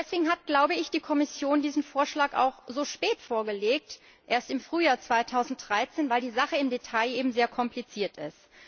Deswegen hat die Kommission diesen Vorschlag auch so spät vorgelegt erst im Frühjahr 2013 weil die Sache im Detail eben sehr kompliziert ist.